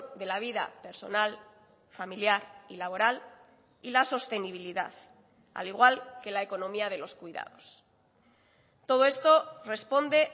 de la vida personal familiar y laboral y la sostenibilidad al igual que la economía de los cuidados todo esto responde